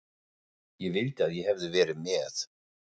Ég vildi að ég hefði verið með